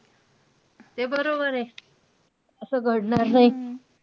ते बरोबर आहे. असं घडणार नाही.